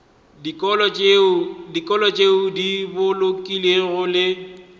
dikolo tšeo di bolokegilego le